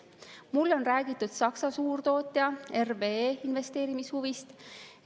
Mulle on räägitud Saksa suurtootja RWE investeerimishuvist.